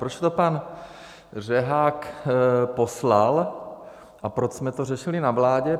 Proč to pan Řehák poslal a proč jsme to řešili na vládě?